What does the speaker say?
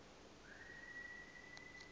gov conv form coid